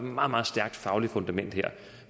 meget meget stærkt fagligt fundament